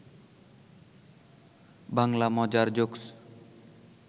বাংলা মজার জোকস